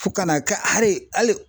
Fo ka n'a kɛ hali